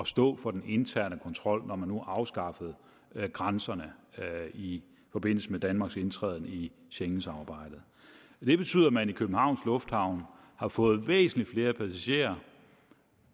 stå for den interne kontrol når man nu afskaffede grænserne i forbindelse med danmarks indtræden i schengensamarbejdet det betyder at man i københavns lufthavn har fået væsentlig flere passagerer